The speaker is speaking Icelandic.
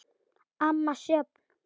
Amma Sjöfn.